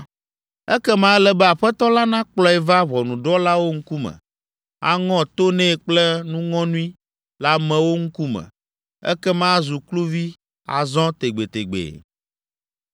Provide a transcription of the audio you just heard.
ekema ele be aƒetɔ la nakplɔe va ʋɔnudrɔ̃lawo ŋkume, aŋɔ to nɛ kple nuŋɔnui le amewo ŋkume, ekema azu kluvi azɔ tegbetegbe.